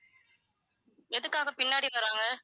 எதுக்காக பின்னாடி வராங்க